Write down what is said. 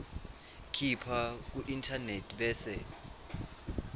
khipha kuinternet bese